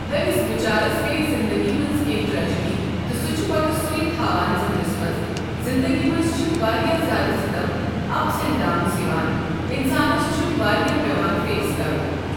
تٔمِس بِچارَس گٔیَس زِندگی منٛز کیٚنٛہہ ٹرٛیجڈی تہٕ سُہ چُھ پتہ سوٗے تھاوان سوٗے تھاوان ذٮ۪ہنَس منٛز زندگی منٛز چھِ واریاہ زیادٕ سِتَم اَپ ڈاونٕز چھِ یِوان انسانَس چھ واریاہ پٮ۪وان فیس کَرُن.